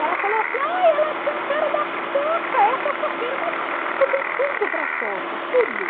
Ela falou assim, ela tem a cara da, essa é a mas você tem tudo para a tudo.